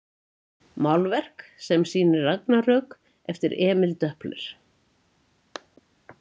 Málverk sem sýnir ragnarök eftir Emil Doepler.